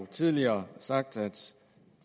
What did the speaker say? tidligere sagt at